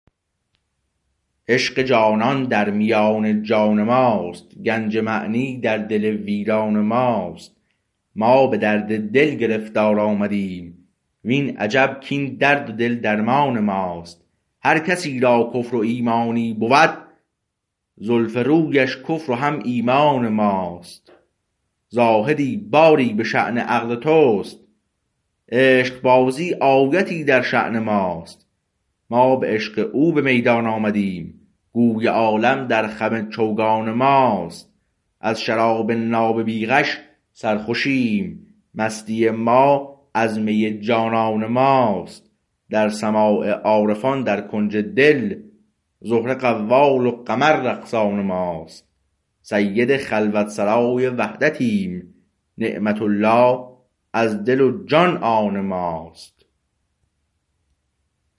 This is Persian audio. عشق جانان در میان جان ماست گنج معنی در دل ویران ماست ما به درد دل گرفتار آمدیم وین عجب کاین درد دل درمان ماست هر کسی را کفر و ایمانی بود زلف رویش کفر و هم ایمان ماست زاهدی باری به شأن عقل تو است عشق بازی آیتی در شأن ماست ما به عشق او به میدان آمدیم گوی عالم در خم چوگان ماست از شراب ناب بی غش سرخوشیم مستی ما از می جانان ماست در سماع عارفان در کنج دل زهره قوال و قمر رقصان ماست سید خلوت سرای وحدتیم نعمت الله از دل و جان آن ماست